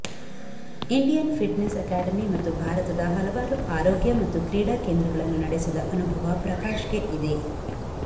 Indian fitness academy ಮತ್ತು ಭಾರತದ ಹಲವಾರು ಆರೋಗ್ಯ ಮತ್ತು ಕ್ರೀಡಾ ಕೇಂದ್ರಗಳನ್ನು ನಡೆಸಿದ ಅನುಭವ ಪ್ರಕಾಶ್ಗೆ ಇದೆ